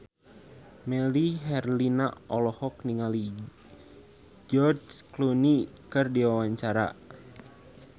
Melly Herlina olohok ningali George Clooney keur diwawancara